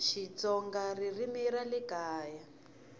xitsonga ririmi ra le kaya